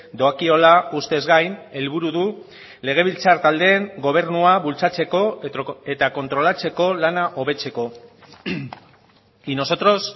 doakiola ustez gain helburu du legebiltzar taldeen gobernua bultzatzeko eta kontrolatzeko lana hobetzeko y nosotros